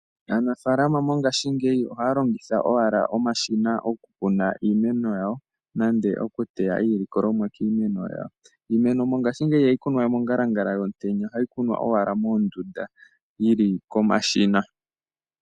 Aanafalama mongashingeyi ohaya longitha oshina gokukuna iimeno yawo nenge okuteya iilikolomwa kiimeno yawo. Iimeno mongashingeyi ihayi kunwa we mongalangala yomutenya ohaayi kunwa owala moondunda yili komashina.